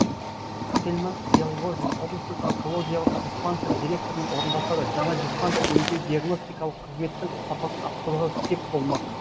тельман әлғожин облыстық онкологиялық диспансер директорының орынбасары жаңа диспансер емдеу диагностикалық қызметтің сапасын арттыруға сеп болмақ